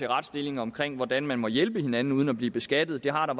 retsstillingen om hvordan man må hjælpe hinanden uden at blive beskattet det har der